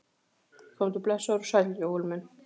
Komdu blessaður og sæll Jóel minn!